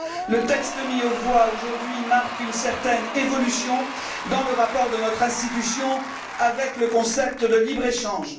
Le texte mis aux voix aujourd'hui marque une certaine évolution dans le rapport de notre institution avec le concept de libre échange.